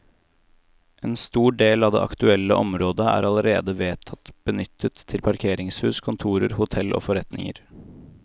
En stor del av det aktuelle området er allerede vedtatt benyttet til parkeringshus, kontorer, hotell og forretninger.